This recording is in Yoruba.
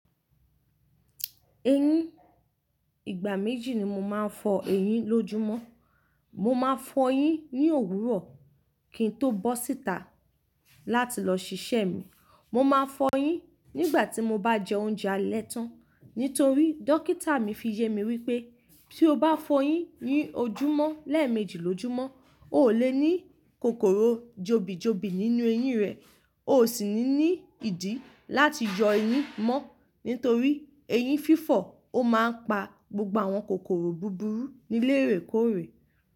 Eyín, ìgbà méjì ni mo máa ń fọ eyín lójúmọ́. Mo máa fọ eyín ní òwúrọ̀ kí n tó bọ́ síta láti lọ ṣiṣẹ́ mi. Mo máa fọ eyín nígbà tí mo bá jẹ oúnjẹ alẹ́ tán. Nítorí dókítà mi fi yemi wípé tí o bá fọ eyín ní ojúmọ́ lẹ́ẹ̀mejì lójúmọ́, o ò lè ní kòkòrò jobi jobi nínú eyín rẹ o sì ní ìdí láti yọ eyín mọ́. Nítorí eyín fífọ̀, ó máa ń pa gbogbo àwọn kòkòrò búburú níléè rẹ̀ kórè.